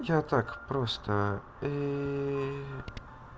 я так просто ии